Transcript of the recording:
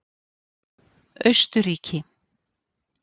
Austurríki